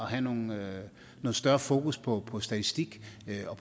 have noget større fokus på på statistik